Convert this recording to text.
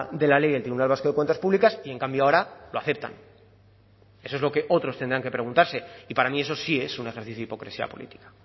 de la ley del tribunal vasco de cuentas públicas y en cambio ahora lo aceptan eso es lo que otros tendrán que preguntarse y para mí eso sí es un ejercicio de hipocresía política